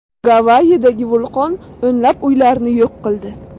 Gavayidagi vulqon o‘nlab uylarni yo‘q qildi.